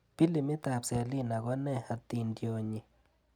Pilimiitab Selina konee atindionyi?